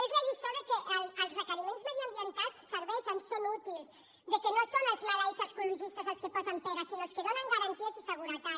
és la lliçó que els requeriments mediambientals serveixen són útils que no són els maleïts els ecologistes els que posen pegues sinó els que donen garanties i seguretat